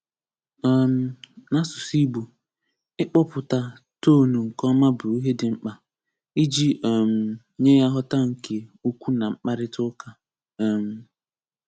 um N'asụsụ Igbo, ị kpọpụta Toonụ nke ọma bụ ihe dị mkpa, iji um nye nghọta nke okwu na mkparịta ụka. um